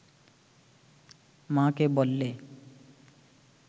মা’কে বললে